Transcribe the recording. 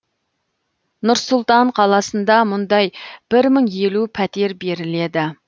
нұр сұлтан қаласында мұндай бір мың елу пәтер беріледі